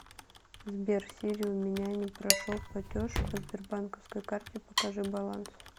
сбер сири у меня не прошел платеж по сбербанковской карте покажи баланс